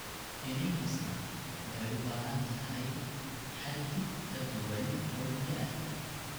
Iniin kastaa waxay u baahan tahay xaddi ka duwan oo biyo ah.